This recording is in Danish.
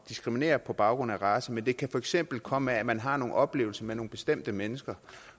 diskriminere på baggrund af race men det kan for eksempel komme af at man har nogle oplevelser med nogle bestemte mennesker